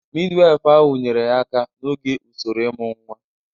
Midiwifu ahụ nyeere ya aka n'oge usoro ịmụ nwa.